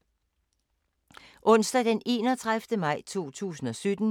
Onsdag d. 31. maj 2017